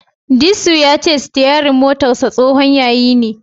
Disu ya ce sitiyarin motarsa tsohon yayi ne.